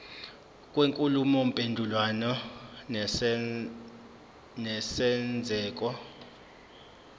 kwenkulumo mpendulwano nesenzeko